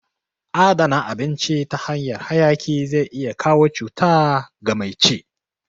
Adana abinci ta hanyan hayaki zai iya kawo cuta ga mai ci